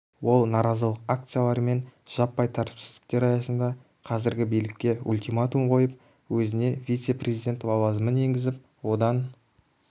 ол наразылық акциялары мен жаппай тәртіпсіздіктер аясында қазіргі билікке ультиматум қойып өзіне вице-президент лауазымын енгізіп одан